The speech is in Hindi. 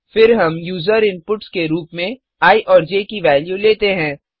फिर हम य़ूजर इनपुट्स के रूप में आई और ज की वेल्यू लेते हैं